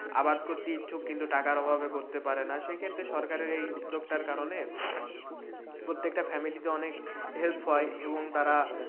আবাদ করতে ইচ্ছুক কিন্তু টাকার অভাবে করতে পারে না, সেক্ষেত্রে এই সরকারের এই উদ্যোগটার কারণে প্রত্যেকটা family তে অনেক হেল্প হয় এবং তারা,